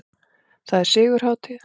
Það er sigurhátíð!